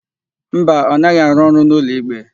Mba, ọ naghị arụ ọrụ n'ụlọikpe.